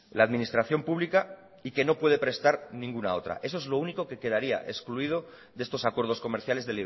la administración pública y que no puede prestar ninguna otra eso es lo único que quedaría excluido de estos acuerdos comerciales